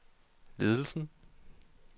ledelsen